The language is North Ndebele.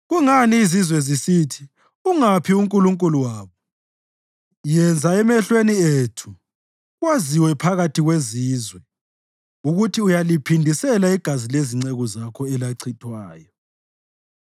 Kungani izizwe zisithi, “Ungaphi uNkulunkulu wabo?” Yenza emehlweni ethu, kwaziwe phakathi kwezizwe ukuthi uyaliphindisela igazi lezinceku zakho elachithwayo.